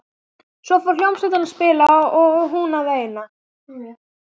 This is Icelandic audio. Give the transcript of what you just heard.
Svo fór hljómsveitin að spila og hún að veina.